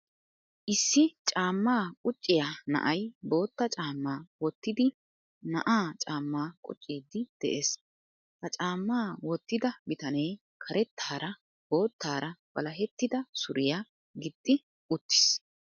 Issi caamma qucciya na'ay bootta caamma wottidi na'aa caamma qucciidi de'ees. Ha caamma wottida bitanee karettaara boottaara walahetida suriyaa gixxi uttiis.